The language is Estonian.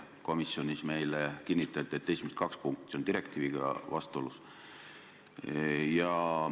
Komisjonis meile kinnitati, et esimesed kaks punkti on direktiiviga vastuolus.